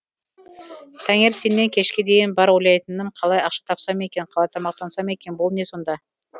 таңертеннен кешке дейін бар ойлайтыным қалай ақша тапсам екен қалай тамақтансам екен бұл не сонда